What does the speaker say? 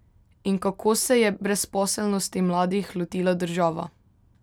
In kako se je brezposelnosti mladih lotila država?